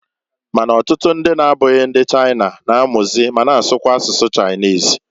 Ma na ọtụtụ ndị na-abụghị ndi China, na-amụzị ma na asụkwazị asụsụ Chinese.